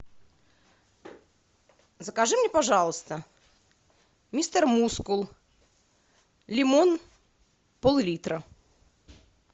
закажи мне пожалуйста мистер мускул лимон пол литра